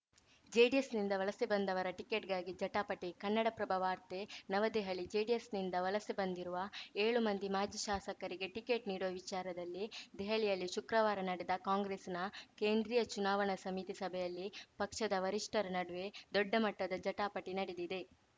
ಜೆಡಿಎಸ್‌ನಿಂದ ವಲಸೆ ಬಂದವರ ಟಿಕೆಟ್‌ಗಾಗಿ ಜಟಾಪಟಿ ಕನ್ನಡಪ್ರಭ ವಾರ್ತೆ ನವದೆಹಲಿ ಜೆಡಿಎಸ್‌ನಿಂದ ವಲಸೆ ಬಂದಿರುವ ಏಳು ಮಂದಿ ಮಾಜಿ ಶಾಸಕರಿಗೆ ಟಿಕೆಟ್‌ ನೀಡುವ ವಿಚಾರದಲ್ಲಿ ದೆಹಲಿಯಲ್ಲಿ ಶುಕ್ರವಾರ ನಡೆದ ಕಾಂಗ್ರೆಸ್‌ನ ಕೇಂದ್ರೀಯ ಚುನಾವಣಾ ಸಮಿತಿ ಸಭೆಯಲ್ಲಿ ಪಕ್ಷದ ವರಿಷ್ಠರ ನಡುವೆ ದೊಡ್ಡಮಟ್ಟದ ಜಟಾಪಟಿ ನಡೆದಿದೆ